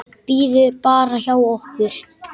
Bíður bara hjá okkur!